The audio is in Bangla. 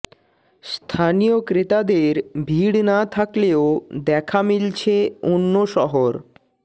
স্থানীয় ক্রেতাদের ভিড় না থাকলেও দেখা মিলছে অন্য শহর